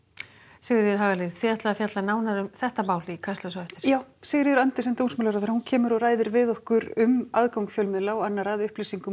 Sigríður Hagalín þið ætlið að fjalla nánar um þetta mál í Kastljósi já Sigríður Andersen dómsmálaráðherra kemur og ræðir við okkur um aðgang fjölmiðla og annarra að upplýsingum